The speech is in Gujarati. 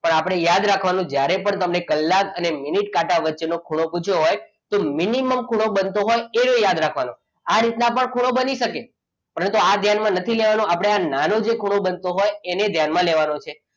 પણ આપણે યાદ રાખવાનું જ્યારે પણ તમે કલાક અને મિનિટ કાંટા વચ્ચેનો ખૂણો પૂછ્યો હોય તો minimum બનતો હોય એ ખૂણો યાદ રાખવાનો. આ રીતના પણ ખૂણો બની શકે પરંતુ આ ધ્યાનમાં નથી લેવાનું આપણે આ નાનો જે ખૂણો બનતો હોય એને ધ્યાનમાં લેવાનો છે.